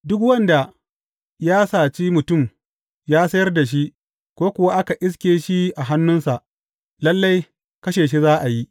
Duk wanda ya saci mutum ya sayar da shi, ko kuwa aka iske shi a hannunsa, lalle kashe shi za a yi.